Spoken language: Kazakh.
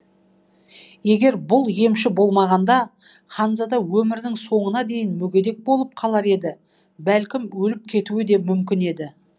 егер бұл емші болмағанда ханзада өмірінің соңына дейін мүгедек болып қалар еді бәлкім өліп кетуі де мүмкін еді